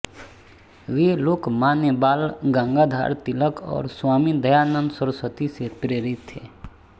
वे लोकमान्य बाल गंगाधर तिलक और स्वामी दयानंद सरस्वती से प्रेरित थे